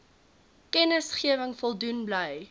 kennisgewing voldoen bly